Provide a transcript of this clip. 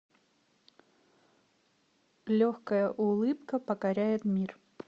легкая улыбка покоряет мир